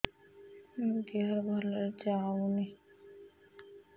ମୋ ଦିହରୁ ଭଲରେ ଯାଉନି